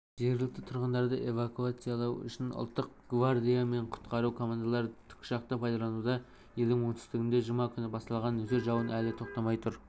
жергілікті тұрғындарды эвакуациялау үшін ұлттық гвардия мен құтқару командалары тікұшақты пайдалануда елдің оңтүстігінде жұма күні басталған нөсер жауын әлі толастамай тұр